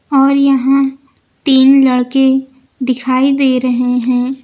और यहां तीन लड़के दिखाई दे रहे हैं।